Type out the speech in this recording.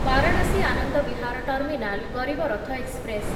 Varanasi Anand Vihar terminal Garib Rath express